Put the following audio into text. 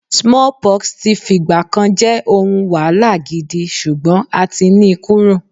smallpox ti f'igba kan je ohun wahala gidi, sugbon a ti ni kúrò